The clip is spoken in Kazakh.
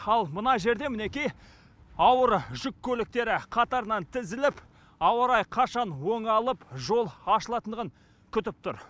ал мына жерде мінекей ауыр жүк көліктері қатарынан тізіліп ауа райы қашан оңалып жол ашылатындығын күтіп тұр